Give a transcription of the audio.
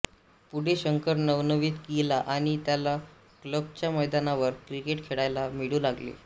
पुढे शंकर नववीत गेला आणि त्याला क्लबच्या मैदानावर क्रिकेट खेळायला मिळू लागले